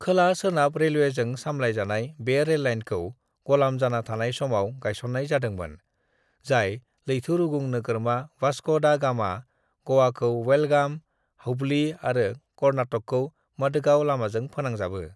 "खोला सोनाब रेलवेजों सालायजानाय बे रेललाइनखौ ग'लाम जाना थानाय समाव गायसननाय जादोंमोन, जाय लैथोरुगुं नोगोरमा वास्को दा गामा, गोवाखौ बेलगाम, हुबली आरो कर्नाटकखौ मडगांवनि लामाजों फोनांजाबो।"